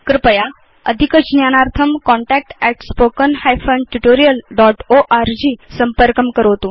कृपया अधिकज्ञानार्थं contact at spoken hyphen tutorial dot org संपर्कं करोतु